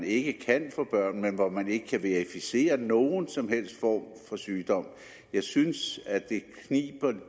ikke kan få børn men hvor man ikke kan verificere nogen som helst form for sygdom jeg synes